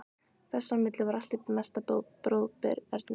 Þess á milli var allt í mesta bróðerni.